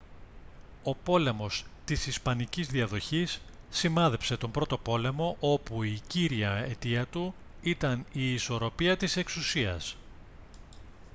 ο πόλεμος της ισπανικής διαδοχής σημάδεψε τον πρώτο πόλεμο όπου η κύρια αιτία του ήταν η ισορροπία της εξουσίας